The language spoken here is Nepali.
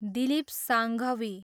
दिलीप साङ्घवी